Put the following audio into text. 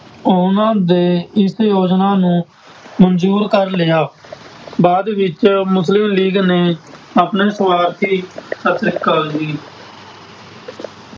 ਉਹਨਾਂ ਦੇ ਇਸ ਯੋਜਨਾ ਨੂੰ ਮਨਜ਼ੂਰ ਕਰ ਲਿਆ ਬਾਅਦ ਵਿੱਚ ਮੁਸਲਿਮ ਲੀਗ ਨੇ ਆਪਣੇ ਸਵਾਰਥੀ ਸਤਿ ਸ੍ਰੀ ਅਕਾਲ ਜੀ।